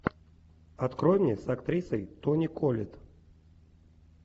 открой мне с актрисой тони коллетт